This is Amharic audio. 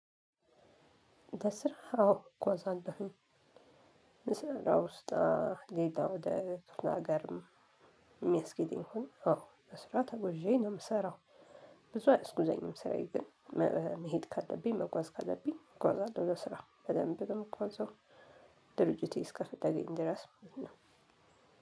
በስራ አዎ እጓዛለሁኝ ምስራው ውስጥ ሌላ ወደ ክፍለ ሀገርም ሚያስኬደኝ አዎ በስራ ተጎዤ ነው ምሰራው ብዙ አይስኩዘኝም ሰራዬ ግን መሄድ ካለብኝ መጓዝ ካለብኝ እጓዛለሁ ለስራ በደንብ ምጓዘው ድርጅቴ እስከፈለገኝ ድረስ ነው።